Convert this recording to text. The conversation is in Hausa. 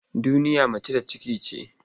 Duniya mace da ciki ce.